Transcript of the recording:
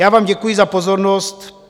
Já vám děkuji za pozornost.